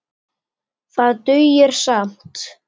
Það dugir skammt.